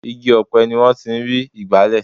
igi ọ̀pẹ ni wọ́n ti ń rí igbale